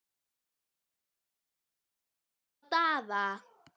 Hreppsnefndin myndi fúslega veita leyfi sitt til slíkrar kynnisferðar.